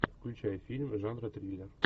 включай фильм жанра триллер